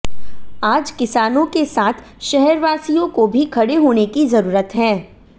आज किसानों के साथ शहरवासियों को भी खड़े होने की जरूरत है